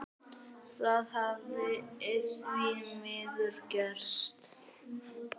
Það hafi því miður gerst.